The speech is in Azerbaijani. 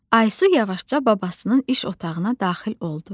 Aysu yavaşca babasının iş otağına daxil oldu.